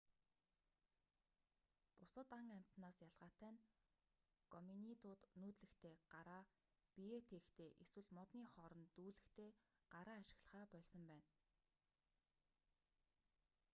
бусад ан амьтадаас ялгаатай нь гоминидууд нүүдлэхдээ гараа биеээ тээхдээ эсвэл модны хооронд дүүлэхдээ гараа ашиглахаа больсон байна